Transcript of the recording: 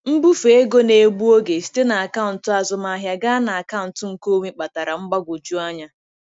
Mbufe ego na-egbu oge site na akaụntụ azụmahịa gaa na akaụntụ nkeonwe kpatara mgbagwoju anya.